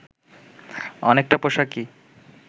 অনেকটা পোশাকি